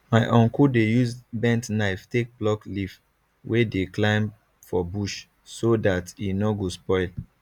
my uncle dey use bent knife take pluck leaf wey dey climb for bush so dat e nor go spoil